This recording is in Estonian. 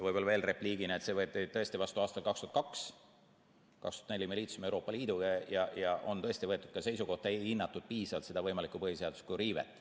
Võib-olla veel repliigina, et see võeti tõesti vastu aastal 2002. Aastal 2004 me liitusime Euroopa Liiduga ja on tõesti võetud seisukoht, et siis ei hinnatud piisavalt seda võimalikku põhiseaduslikku riivet.